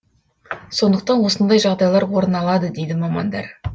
сондықтан осындай жағдайлар орын алады дейді мамандар